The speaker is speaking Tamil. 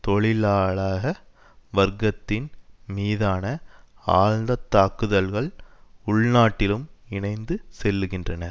தொழிலாளக வர்க்கத்தின் மீதான ஆழ்ந்த தாக்குதல்கள் உள்நாட்டிலும் இணைந்து செல்லுகின்றன